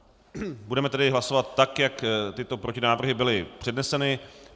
Budeme tedy hlasovat, tak jak tyto protinávrhy byly předneseny.